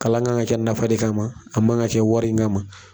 Kalan kan ka kɛ nafa de kama a man ka kɛ wari in kama